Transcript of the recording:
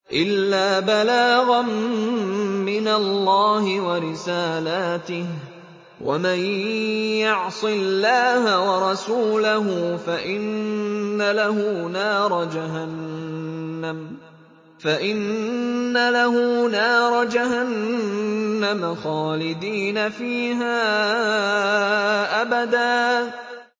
إِلَّا بَلَاغًا مِّنَ اللَّهِ وَرِسَالَاتِهِ ۚ وَمَن يَعْصِ اللَّهَ وَرَسُولَهُ فَإِنَّ لَهُ نَارَ جَهَنَّمَ خَالِدِينَ فِيهَا أَبَدًا